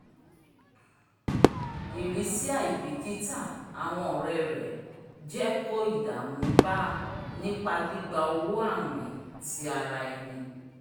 irisi aibikita awọn ọrẹ rẹ jẹ ko ìdààmú bá nípa gbigba owó awin ti àrà ẹni